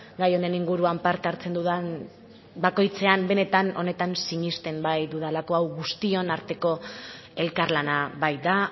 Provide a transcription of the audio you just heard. gai honen inguruan parte hartzen dudan bakoitzean benetan honetan sinesten baitudalako hau guztion arteko elkarlana baita